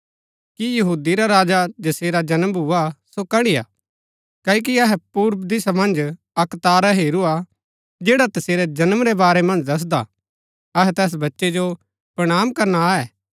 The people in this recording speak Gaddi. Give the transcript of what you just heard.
कि यहूदी रा राजा जसेरा जन्म भुआ सो कड़िआ क्ओकि अहै पूर्व दिशा मन्ज अक्क तारा हेरूआ जैड़ा तसेरै जन्म रै बारै मन्ज दसदा ता अहै तैस बच्चै जो प्रणाम करना आये